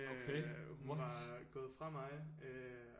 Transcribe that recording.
Øh hun var gået fra mig